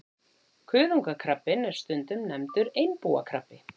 Kuðungakrabbinn er stundum nefndur einbúakrabbi.